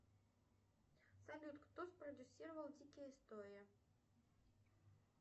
салют кто спродюссировал дикие истории